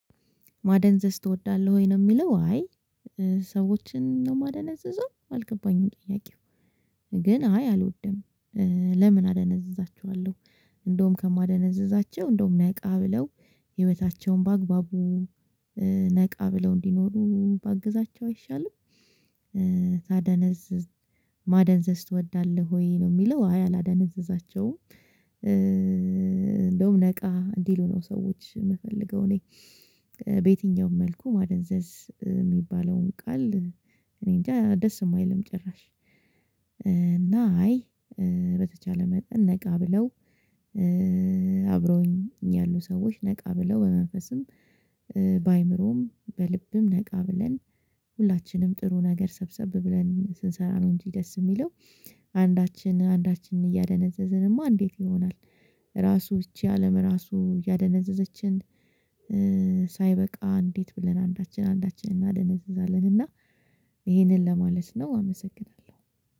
ማደንዘዝ ትወዳለህ ወይ? ነው የሚለው አይ ሰዎችን ነው ማደንዝዘው አልገባኝም ጥያቄው ግን አይ አልወድም። ለምን አደነዝዛችኋለሁ እንደውም ከማደነዝዛቸው እንደውም ነቃ ብለው ህይወታቸውን በአግባቡ ነቃ ብለው እንዲኖሩ ባግዛቸው አይሻልም። ታደነዝዝ ማደንዘዝ ትወዳለህ ወይ ነው የሚለው አይ አላደነዘዛቸውም። እንደውም ነቃ እንዲሉ ነው ሰዎች የምፈልገው እኔ። በየትኛውም መልኩ ማደንዘዝ የሚባለውን ቃል እኔ እንጃ ደስ የማይልም ጭራሽ። አይ በተቻለ መጠን ነቃ ብለው አብሮኝ ያሉ ሰዎች ነቃ ብለው በመንፈስም በአእምሮም በልብም ነቃ ብለን ሁላችንም ጥሩ ነገር ሰብሰብ ብለን ስንሰራ ነው እንጂ ደስ የሚለው። አንዳችን አንዳችንን እያደነዘዝንማ እንዴት ይሆናል? ራሱ ይቺ አለም ራሱ ያደነዘዘችን። ሳይበቃ እንዴት ብለን አንዳችን አንዳችን እናደነዘዛለን እና ይሄንን ለማለት ነው። አመሰግናለሁ።